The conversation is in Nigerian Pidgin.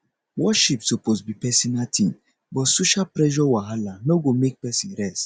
worship suppose be pesinal tin but social pressure wahala no go make pesin rest